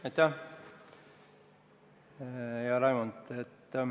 Aitäh, hea Raimond!